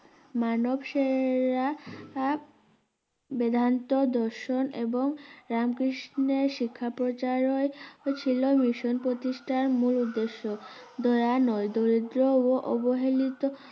মানব~সেরা আ বেদান্ত দর্শন এবং রামকৃষ্ণের শিক্ষা প্রচারের ছিল মিশন প্রতিস্টার মূল উদ্দেশ্য দয়া নয় দরিদ্র ও অবহেলিত